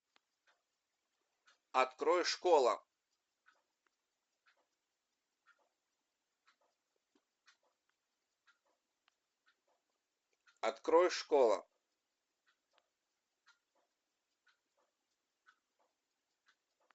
открой школа открой школа